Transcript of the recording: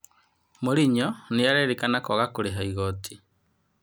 Morinyo nĩ arerĩkana kwaga kũrĩha igoti.